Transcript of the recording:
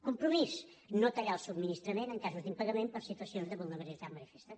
compromís no tallar el subministrament en casos d’impagament per situacions de vulnerabilitat manifesta